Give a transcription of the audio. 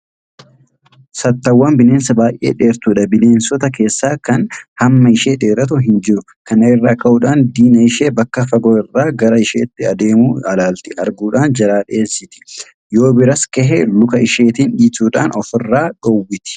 Saatawwaan bineensa baay'ee dheertuudha. Bineensita keessaa kan hamma ishee dheeratu hinjiru. Kana irraa ka'uudhaan diina ishee bakka fagoo irraa gara isheetti adeemu alaalatti arguudhaan jalaa dheensiti. Yoobira gahes luka isheetiin dhiituudhaan ofirraa dhoowwiti.